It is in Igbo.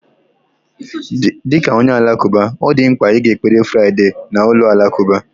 Dị ka onye Alakụba, ọ dị mkpa ịga ekpere Friday Friday na ụlọ alakụba